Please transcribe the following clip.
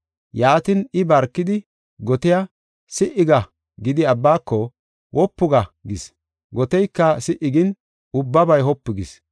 Yaatin, I barkidi gotiya, “Si7i ga” gidi, abbaaka, “Wopu ga” gis. Goteyka si77i gin ubbabay wopu gis.